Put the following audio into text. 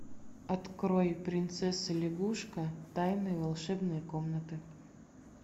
открой принцесса лягушка тайна волшебной комнаты